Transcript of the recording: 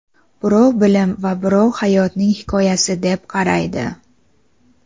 birov bilim va birov hayotning hikoyasi deb qaraydi.